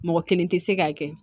Mɔgɔ kelen tɛ se k'a kɛ